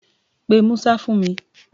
Pe Musa fún mi!